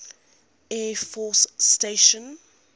air force station